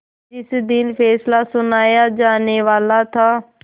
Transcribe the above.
जिस दिन फैसला सुनाया जानेवाला था